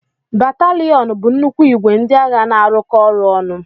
Bataliyonu bụ nnukwu ìgwè ndị agha na-arụkọ ọrụ ọnụ.